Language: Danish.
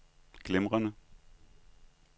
glimrende